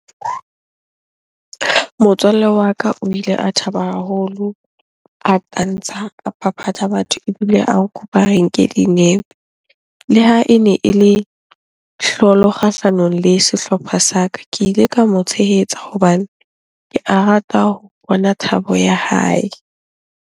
Motswalle wa ka o ile a thaba haholo, a tantsha, a phaphatha batho ebile a nkopa re nke dinepe. Le ha ene ele kgahlanong le sehlopha sa ka. Ke ile ka mo tshehetsa hobane ke a rata ho bona thabo ya hae.